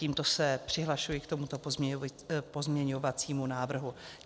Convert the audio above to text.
Tímto se přihlašuji k tomuto pozměňovacímu návrhu.